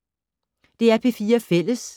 DR P4 Fælles